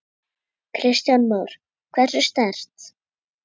Kristján Már: Hversu sterkt?